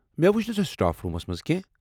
مےٚ وٗچھ نہٕ سۄ سٹاف روٗمس منٛز کٮ۪نٛہہ۔